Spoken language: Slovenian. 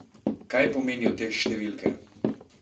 Kaj pomenijo te številke?